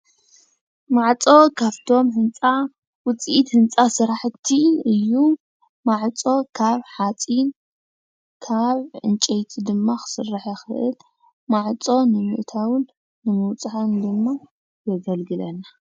ማዕፆ ካብቶም ህንፃ ዉፂኢት ህንፃ ስራሕቲ እዩ፡፡ ማዕፆ ካብ ሓፂን ካብ ዕንጨይቲ ድማ ክስራሕ ይኽእል። ማዕፆ ንምእታዉን ንምውፃን ድማ የገልግለና።